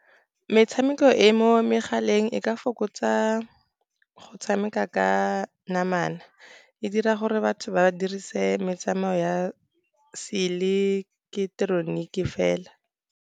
Metshameko e mo megaleng e ka fokotsa go tshameka ka namana. E dira gore batho ba dirise metsamayo ya seileketoroniki fela.